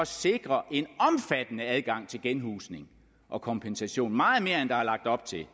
sikre en omfattende adgang til genhusning og kompensation meget mere end der er lagt op til